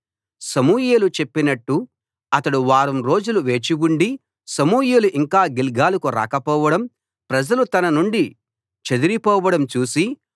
సమూయేలు చెప్పినట్టు అతడు వారం రోజులు వేచి ఉండి సమూయేలు ఇంకా గిల్గాలుకు రాకపోవడం ప్రజలు తన నుండి చెదరిపోవడం చూసి